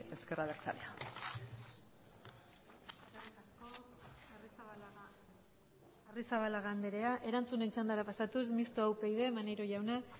ezker abertzalea eskerrik asko arrizabalaga andrea erantzunen txandara pasatuz mistoa upyd maneiro jauna